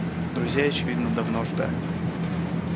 друзей очевидно давно ждали